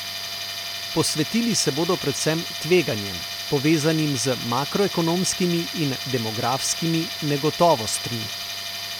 Posvetili se bodo predvsem tveganjem, povezanim z makroekonomskimi in demografskimi negotovostmi.